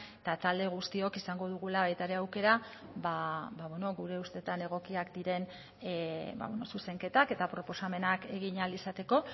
eta talde guztiok izango dugula baita ere aukera ba gure ustetan egokiak diren zuzenketak eta proposamenak egin ahal izateko